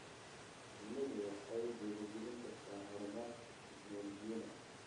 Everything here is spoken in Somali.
Shinnidu waxay dhiirigelin kartaa horumarka tignoolajiyada.